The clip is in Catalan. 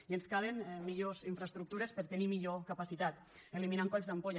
i ens calen millors infraestructures per a tenir millor capacitat eliminant colls d’ampolla